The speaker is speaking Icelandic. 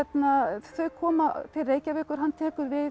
þau koma til Reykjavíkur hann tekur við